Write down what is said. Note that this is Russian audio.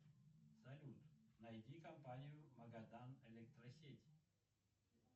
салют найди компанию магадан электросеть